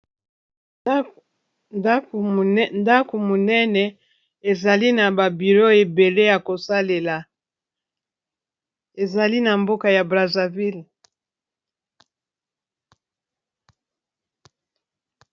Ndako monene ezali na ba biro ebele ya kosalela ezali na mboka ya Brazzaville .